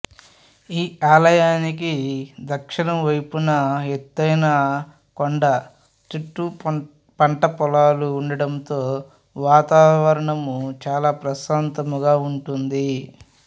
ఈ ఆలయానికి దక్షిణం వైపున ఎత్తైన కొండ చుట్టూ పంటపొలాలు ఉండడముతో వాతావరణము చాల ప్రశాంతంగా ఉంటుంది